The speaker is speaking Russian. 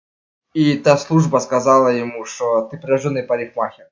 это служба сказала ему что ты прирождённый парикмахер